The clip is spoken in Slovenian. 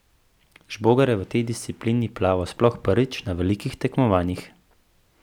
Žbogar je v tej disciplini plaval sploh prvič na velikih tekmovanjih.